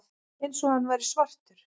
Eins og hann væri svartur.